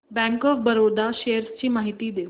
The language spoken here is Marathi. बँक ऑफ बरोडा शेअर्स ची माहिती दे